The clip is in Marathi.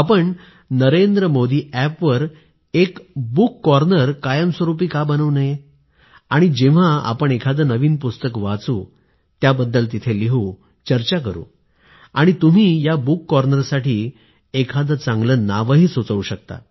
आपण नरेंद्र मोदी अॅपवर पुस्तकांचा एक कोपरा कायमस्वरूपी बनवूया आणि जेव्हा आपण एखादे नवीन पुस्तक वाचू त्याबद्दल तिथे लिहू चर्चा करू आणि तुम्ही या पुस्तकांच्या कोपऱ्यासाठी एखादे चांगले नावही सुचवू शकता